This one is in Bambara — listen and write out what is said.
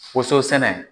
Woson sɛnɛ